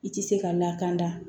I tɛ se ka lakana